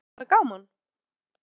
En er búið að vera gaman?